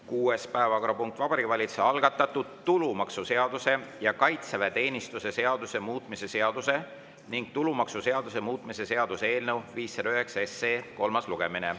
Kuues päevakorrapunkt on Vabariigi Valitsuse algatatud tulumaksuseaduse ja kaitseväeteenistuse seaduse muutmise seaduse ning tulumaksuseaduse muutmise seaduse eelnõu 509 kolmas lugemine.